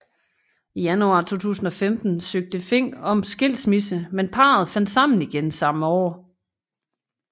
I januar 2015 søgte Fink om skilsmisse men parret fandt sammen igen samme år